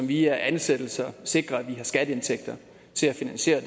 via ansættelser sikrer at vi har skatteindtægter til at finansiere